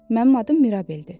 Mənim adım Mirabeldir.